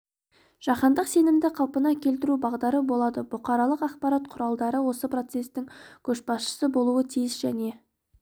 жаһандық сенімді қалпына келтіру бағдары болады бұқаралық ақпарат құралдары осы процестің көшбасшысы болуы тиіс және